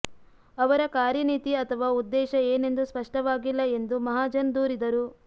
ಅವರ ಕಾರ್ಯನೀತಿ ಅಥವಾ ಉದ್ದೇಶ ಏನೆಂದು ಸ್ಪಷ್ಟವಾಗಿಲ್ಲ ಎಂದು ಮಹಾಜನ್ ದೂರಿದರು